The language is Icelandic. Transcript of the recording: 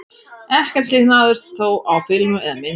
Ekkert slíkt náðist þó á filmu eða mynd.